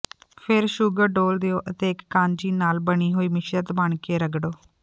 ਫਿਰ ਸ਼ੂਗਰ ਡੋਲ੍ਹ ਦਿਓ ਅਤੇ ਇਕ ਕਾਂਜੀ ਨਾਲ ਬਣੀ ਹੋਈ ਮਿਸ਼ਰਤ ਬਣ ਕੇ ਰਗੜੋ